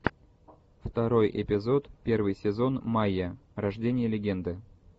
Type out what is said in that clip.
второй эпизод первый сезон майя рождение легенды